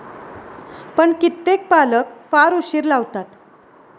पण कित्येक पालक फार उशीर लावतात.